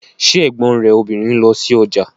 Ṣé ẹ̀gbọ́n rẹ̀ obìnrin ń lọ sí ọjà